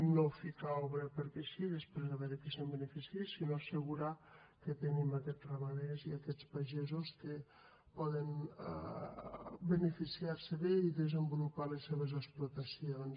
no ficar obra perquè sí i després a veure qui se’n beneficia sinó assegurar que tenim aquests ramaders i aquests pagesos que poden beneficiar se’n bé i desenvolupar les seves explotacions